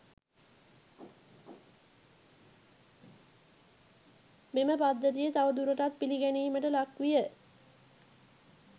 මෙම පද්ධතිය තවදුරටත් පිළිගැනීමට ලක්විය.